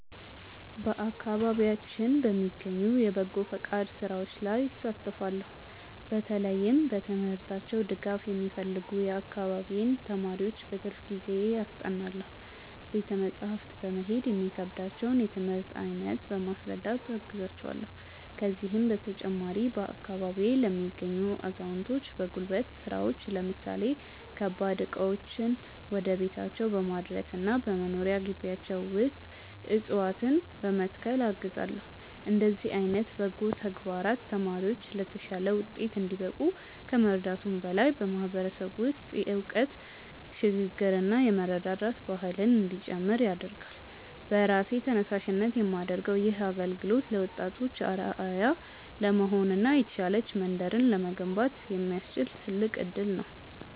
በአካባቢያችን በሚገኙ የበጎ ፈቃድ ሥራዎች ላይ እሳተፋለው። በተለይም በትምህርታቸው ድጋፍ የሚፈልጉ የአካባቢዬን ተማሪዎች በትርፍ ጊዜዬ አስጠናለው። ቤተ መጻሕፍት በመሄድ የሚከብዳቸውን የትምህርት አይነት በማስረዳት አግዛቸዋለው። ከዚህም በተጨማሪ፣ በአካባቢዬ ለሚገኙ አዛውንቶች በጉልበት ሥራዎች ለምሳሌ ከባድ ዕቃዎችን ወደ ቤታቸው በማድረስና በመኖሪያ ግቢያቸው ውስጥ ዕፅዋትነ በመትከል አግዛለው። እንዲህ ዓይነት በጎ ተግባራት ተማሪዎች ለተሻለ ውጤት እንዲበቁ ከመርዳቱም በላይ፣ በማህበረሰቡ ውስጥ የእውቀት ሽግ ግርና የመረዳዳት ባህል እንዲጨምር ያደርጋል። በራሴ ተነሳሽነት የማደርገው ይህ አገልግሎት ለወጣቶች አርአያ ለመሆንና የተሻለች መንደርን ለመገንባት የሚያስችል ትልቅ እድል ነው።